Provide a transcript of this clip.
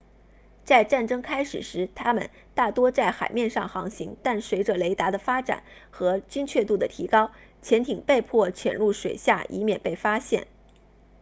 在战争开始时它们大多在海面上航行但随着雷达的发展和精确度的提高潜艇被迫潜入水下以免被发现